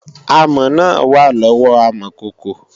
Amọ̀ náà wà lọ́wọ́ amọ̀kòkò